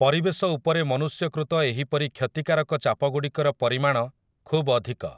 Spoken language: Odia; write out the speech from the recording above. ପରିବେଶ ଉପରେ ମନୁଷ୍ୟକୃତ ଏହିପରି କ୍ଷତିକାରକ ଚାପଗୁଡ଼ିକର ପରିମାଣ ଖୁବ୍ ଅଧିକ ।